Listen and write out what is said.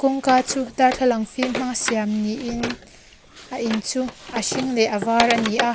kawngka chu darthlalang fîm hmanga siam niin a in chu a hring leh a var ani a.